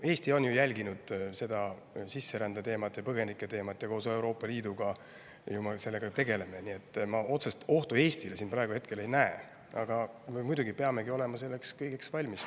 Eesti on jälginud sisserände ja põgenike teemat ja koos Euroopa Liiduga sellega ju tegeleme, nii et ma otsest ohtu Eestile praegu hetkel ei näe, aga muidugi peamegi olema selleks kõigeks valmis.